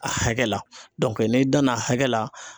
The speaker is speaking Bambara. A hakɛ la n'i danna a hakɛ la